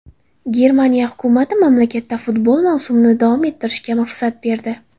Germaniya hukumati mamlakatda futbol mavsumini davom ettirishga ruxsat berdi.